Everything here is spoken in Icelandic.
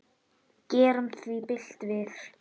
Gerum því bylt við.